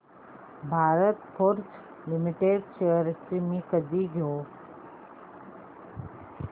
Bharat Forge limited shares मी कधी घेऊ